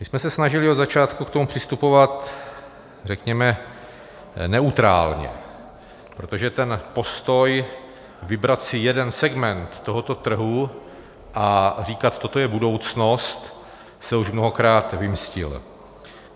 My jsme se snažili od začátku k tomu přistupovat řekněme neutrálně, protože ten postoj, vybrat si jeden segment tohoto trhu a říkat: toto je budoucnost, se už mnohokrát vymstil.